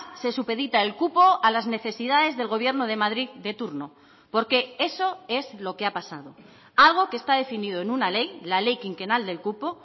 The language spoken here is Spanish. se supedita el cupo a las necesidades del gobierno de madrid de turno porque eso es lo que ha pasado algo que está definido en una ley la ley quinquenal del cupo